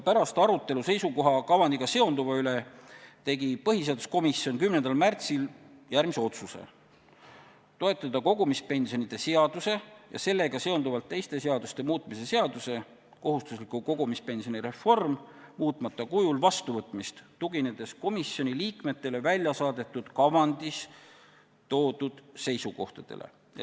Pärast arutelu, mis peeti seisukoha kavandiga seonduva üle, tegi põhiseaduskomisjon 10. märtsil järgmise otsuse: toetada kogumispensionide seaduse ja sellega seonduvalt teiste seaduste muutmise seaduse muutmata kujul vastuvõtmist, tuginedes komisjoni liikmetele väljasaadetud kavandis esitatud seisukohtadele.